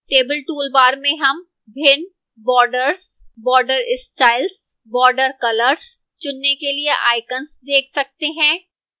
table toolbar में हम भिन्न borders border styles border colours चुनने के लिए icons देख सकते हैं